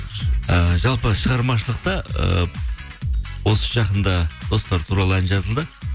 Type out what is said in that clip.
ііі жалпы шығармашылықта ы осы жақында достар туралы ән жазылды